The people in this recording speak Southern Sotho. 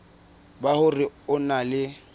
ba hore o na le